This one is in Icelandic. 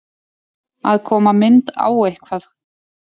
Að koma mynd á eitthvað